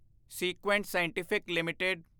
Sequent Scientific LTD